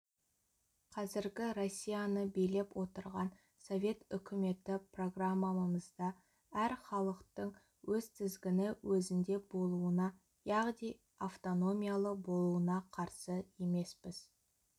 қазіргі россияны билеп отырған совет үкіметі программамызда әр халықтың өз тізгіні өзінде болуына яғни автономиялы болуына қарсы емеспіз